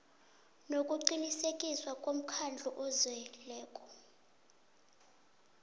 nokuqinisekiswa mkhandlu ozeleko